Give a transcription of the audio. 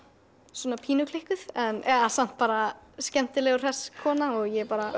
svona pínu klikkuð eða samt bara skemmtileg og hress kona og ég er bara